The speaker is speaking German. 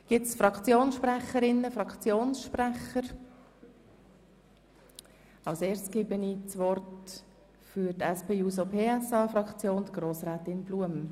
Gibt es Fraktionssprecherinnen, Fraktionssprecher? – Als erstes gebe ich das Wort der Sprecherin der SP-JUSOPSA-Fraktion, Grossrätin Blum.